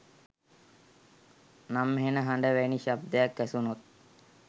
නම් හෙණ හඬ වැනි ශබ්දයක් ඇසුනොත්